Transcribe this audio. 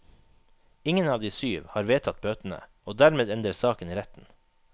Ingen av de syv har vedtatt bøtene, og dermed ender saken i retten.